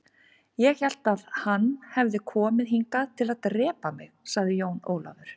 Ég hélt að hann hefði komið hingað til að drepa mig, sagði Jón Ólafur.